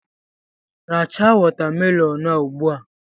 Racha watamelonụ a ugbua!